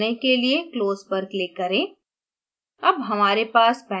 dialog box बंद करने के लिए close पर click करें